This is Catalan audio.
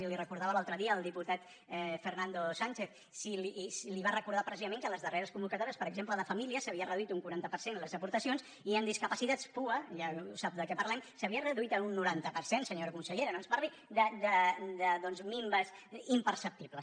i li ho recordava l’altre dia el diputat fernando sánchez i li va recordar precisament que les darreres convocatò·ries per exemple de família s’havien reduït un quaranta per cent les aportacions i en discapacitats pua ja sap de què parlem s’havia reduït en un noranta per cent senyora consellera no ens parli doncs de minves impercepti·bles